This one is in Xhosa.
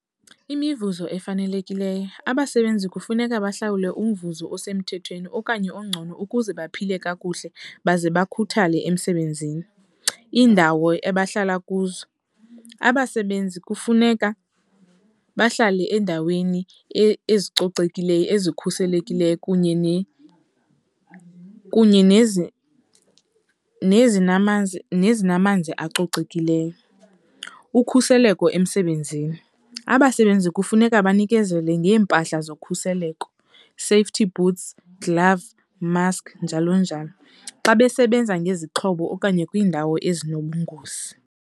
Imivuzo efanelekileyo, abasebenzi kufuneka bahlawulwe umvuzo osemthethweni okanye ongcono ukuze baphile kakuhle baze bakhuthale emsebenzini. Iindawo abahlala kuzo, abasebenzi kufuneka bahlale endaweni ezicocekileyo ezikhuselekileyo kunye nezinamanzi acocekileyo. Ukhuseleko emsebenzini, abasebenzi kufuneka banikezele ngeempahla zokhuseleko, safety boots, glove, mask njalonjalo xa besebenza ngezixhobo okanye kwiindawo ezinobungozi.